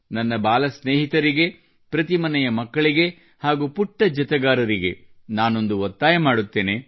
ನನ್ನ ಬಾಲ ಸ್ನೇಹಿತರಿಗೆ ಪ್ರತಿ ಮನೆಯ ಮಕ್ಕಳಿಗೆ ಹಾಗೂ ಪುಟ್ಟ ಜತೆಗಾರರಿಗೆ ನಾನೊಂದು ಒತ್ತಾಯ ಮಾಡುತ್ತೇನೆ